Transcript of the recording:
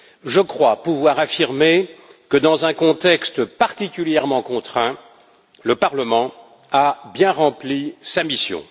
Je crois pouvoir affirmer que, dans un contexte particulièrement contraint, le Parlement a bien rempli sa mission.